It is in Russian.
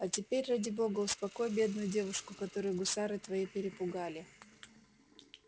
а теперь ради бога успокой бедную девушку которую гусары твои перепугали